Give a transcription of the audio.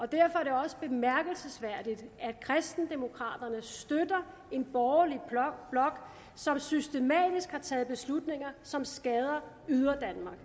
derfor er det også bemærkelsesværdigt at kristendemokraterne støtter en borgerlig blok som systematisk har taget beslutninger som skader yderdanmark